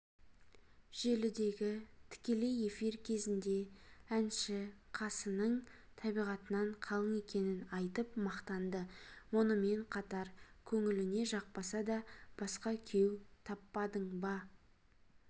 желідегі тікелей эфир кезінде әнші қасының табиғатынан қалың екенін айтып мақтанды мұнымен қатар көңіліне жақпаса да басқа күйеу таппадың ба